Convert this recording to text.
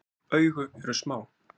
Augu eru smá.